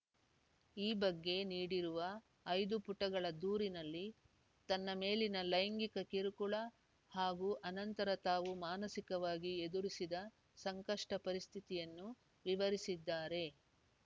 ಈ ಬಗ್ಗೆ ನೀಡಿರುವ ಐದು ಪುಟಗಳ ದೂರಿನಲ್ಲಿ ತನ್ನ ಮೇಲಿನ ಲೈಂಗಿಕ ಕಿರುಕುಳ ಹಾಗೂ ಆನಂತರ ತಾವು ಮಾನಸಿಕವಾಗಿ ಎದುರಿಸಿದ ಸಂಕಷ್ಟಪರಿಸ್ಥಿತಿಯನ್ನು ವಿವರಿಸಿದ್ದಾರೆ